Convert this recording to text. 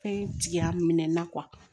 Fɛn jigin a minɛn na